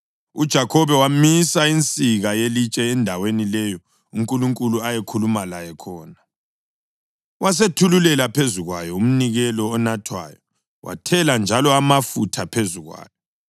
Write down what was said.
UJakhobe wamisa insika yelitshe endaweni leyo uNkulunkulu ayekhulume laye khona, wasethululela phezu kwayo umnikelo onathwayo; wathela njalo amafutha phezu kwayo.